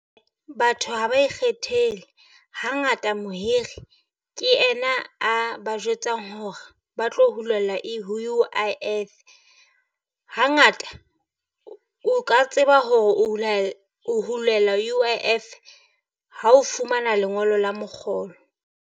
Batho ha ba ikgethele, hangata mohiri ke ena a ba jwetsang hore ba tlo hulelwa e ho U_I_F. Hangata o ka tseba hore o hule, o hulela U_I_F ha o fumana lengolo la mokgolo.